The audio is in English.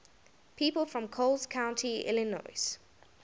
people from coles county illinois